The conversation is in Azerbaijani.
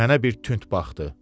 Mənə bir tünt baxdı.